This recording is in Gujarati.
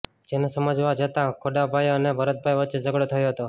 જેને સમજાવવા જતાં ખોડાભાઇ અને ભરતભાઇ વચ્ચે ઝઘડો થયો હતો